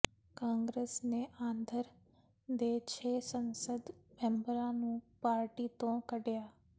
ਕਾਂਗਰਸ ਨੇ ਆਂਧਰ ਦੇ ਛੇ ਸੰਸਦ ਮੈਂਬਰਾਂ ਨੂੰ ਪਾਰਟੀ ਤੋਂ ਕੱਿਢਆ